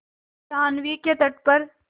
जाह्नवी के तट पर